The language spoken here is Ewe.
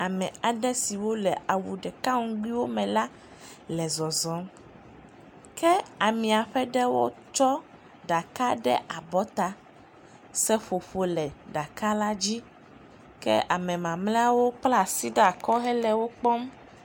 ame aɖe siwo le awu ɖeka ŋgbi me le zɔzɔm ke amia ƒe ɖewo tsɔ ɖaka ɖe abɔta seƒoƒo le ɖaka la dzi ke ame mamliawo kpla asi ɖakɔ hele wó kpɔm